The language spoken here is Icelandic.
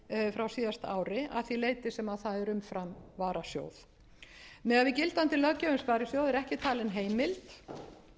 frá síðasta ári að því leyti sem það er umfram varasjóð miðað við gildandi löggjöf um sparisjóði er ekki talin heimild til þess að